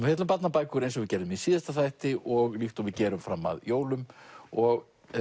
fjalla um barnabækur eins og við gerðum í síðasta þætti og líkt og við gerum fram að jólum og